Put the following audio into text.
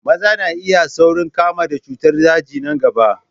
Maza na iya saurin kamuwa da cutar daji na gaba.